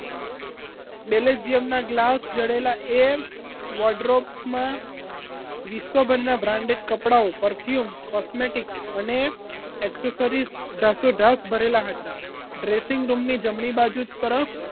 બેલેજીયમ ના ગ્લાસ જડેલા એમ વોડ ડ્રોપ્સ માં વિશ્વભરના branded કપડાઓ perfume cosmetic અને accessories ઢાસો ઢાસ ભરેલા હતા dressing bedroom ની જમણી બાજુ તરફ